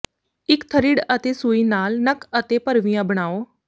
ਇੱਕ ਥਰਿੱਡ ਅਤੇ ਸੂਈ ਨਾਲ ਨੱਕ ਅਤੇ ਭਰਵੀਆਂ ਬਣਾਉ